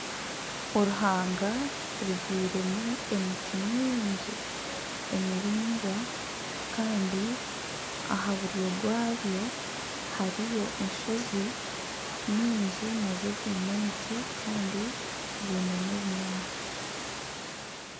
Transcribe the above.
Oruhanga rubyairwemu emiti mingi emiraingwa kandi aha buryo bwayo hariyo enshozi nyingi nazo ziine emiti kandi ziine n'ebinyaatsi.